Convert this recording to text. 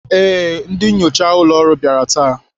Ee, ndị nnyocha ụlọ ọrụ bịara taa.